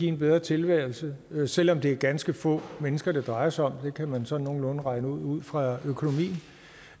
en bedre tilværelse selv om det er ganske få mennesker det drejer sig om det kan man sådan nogenlunde regne ud ud fra økonomien og